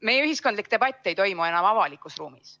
Meie ühiskondlik debatt ei toimu enam avalikus ruumis.